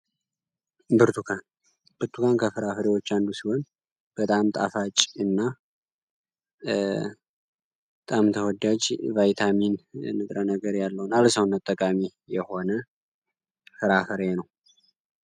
ብርቱካን ብቱጋን ከፍራፍሬዎች አንዱ ሲሆን በጣም ጣፋጭ እና ጣምተወዳጅ ቫይታሚን ንግረ ነገር ያለሆን አለሳውን አጠጋሚ የሆነ ፍራፈሬ ነው፡፡